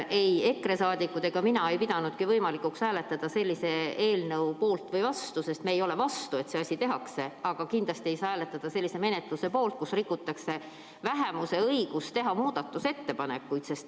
Ei EKRE liikmed ega mina pidanud võimalikuks hääletada sellise eelnõu poolt või vastu, sest me ei ole vastu, et see asi ära tehakse, aga kindlasti ei saa hääletada ka sellise menetluse poolt, kus rikutakse vähemuse õigust teha muudatusettepanekuid.